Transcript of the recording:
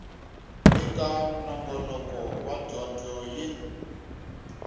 eka nongonoko wa dyondzo yin